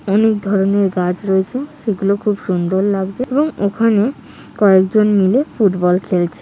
অনেক ধরণের গাছ রয়েছে সে গুলো খুব সুন্দর লাগছে এবং ওখানে কয়েকজন জন লোক ফুটবল খেলছে ।